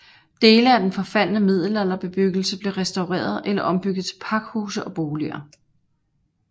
Dele af den forfaldne middelalderbebyggelse blev restaureret eller ombygget til pakhuse og boliger